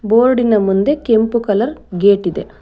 ಬೋರ್ಡಿನ ಮುಂದೆ ಕೆಂಪು ಕಲರ್ ಗೇಟ್ ಇದೆ.